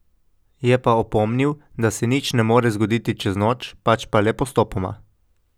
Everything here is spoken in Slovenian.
Je pa opomnil, da se nič ne more zgoditi čez noč, pač pa le postopoma.